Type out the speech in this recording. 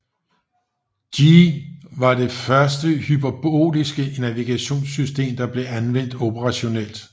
Gee var det første hyperboliske navigationssystem der blev anvendt operationelt